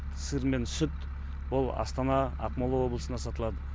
сыр мен сүт ол астана ақмола облысына сатылады